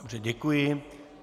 Dobře, děkuji.